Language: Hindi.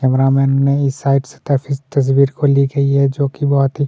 कैमरा मैन ने इस साइड से तफिस तस्वीर को ली गई है जो कि बहोत ही --